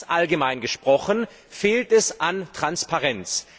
Ganz allgemein gesprochen fehlt es an Transparenz.